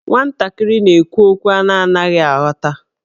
Nwantakịrị na-ekwu okwu a na-anaghị aghọta.